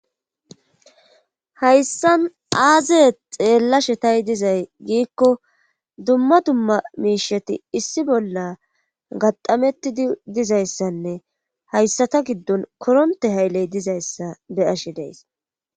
Hayssan aazee xeellashshe taa dizay giikko dumma dumma miishsheti issi bolla gataamettidi dizayssanne hayssata giddon koronte haylley dizayssa be'ashshe de'ees